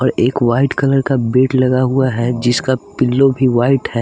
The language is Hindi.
और एक व्हाइट कलर का बेड लगा हुआ है जिसका पिलो भी व्हाइट है।